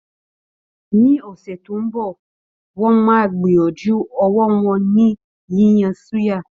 Ní ọ̀sẹ̀ tó ń bọ̀, wọ́n máa gbìyànjú ọwọ́ wọn ni yíyan suya